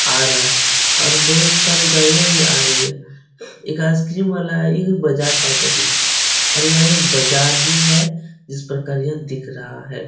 आ रहा है और बोहोत सारे गाड़ियां भी आ रही हैं। एक आइसक्रीम वाला है। ये बजाट टाइप का दिख रहा है और यहाँ एक बाज़ार ही है जिस प्रकार यह दिख रहा है।